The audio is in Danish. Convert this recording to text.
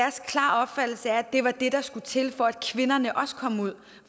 det var det der skulle til for at kvinderne også kom ud